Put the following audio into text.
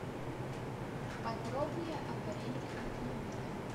подробнее об аренде автомобиля